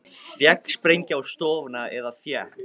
Féll sprengja á stofuna eða fékk